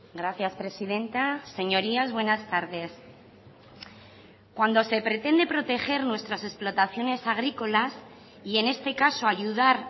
gracias presidenta señorías buenas tardes cuando se pretende proteger nuestras explotaciones agrícolas y en este caso ayudar